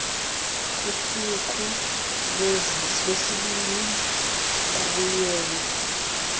kusuku lwesibini babuyela